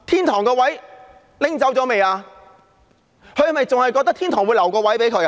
她是否還覺得天堂會留一個位置給她？